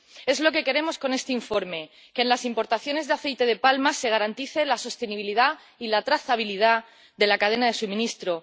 Es lo que queremos con este informe que en las importaciones de aceite de palma se garantice la sostenibilidad y la trazabilidad de la cadena de suministro.